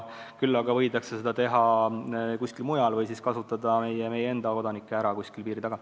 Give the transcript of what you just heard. Küll aga võidakse seda teha kuskil mujal, sh kasutada meie enda kodanikke ära kuskil piiri taga.